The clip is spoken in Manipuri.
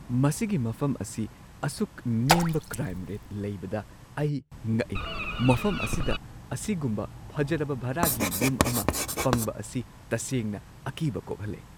ꯃꯁꯤꯒꯤ ꯃꯐꯝ ꯑꯁꯤ ꯑꯁꯨꯛ ꯅꯦꯝꯕ ꯀ꯭ꯔꯥꯏꯝ ꯔꯦꯠ ꯂꯩꯕꯗ ꯑꯩ ꯉꯛꯢ꯫ ꯃꯐꯝ ꯑꯁꯤꯗ ꯑꯁꯤꯒꯨꯝꯕ ꯐꯖꯔꯕ ꯚꯔꯥꯒꯤ ꯌꯨꯝ ꯑꯃ ꯐꯪꯕ ꯑꯁꯤ ꯇꯁꯦꯡꯅ ꯑꯀꯤꯕ ꯀꯣꯛꯍꯜꯂꯦ꯫